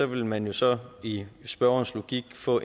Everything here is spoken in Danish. ville man jo så i spørgerens logik få